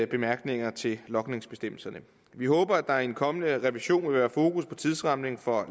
bemærkninger til logningsbestemmelserne vi håber at der i en kommende revision vil være fokus på tidsrammerne for